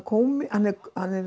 hann er